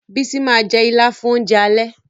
Bísí ma jẹ́ Ìlá fún oúnjẹ alẹ́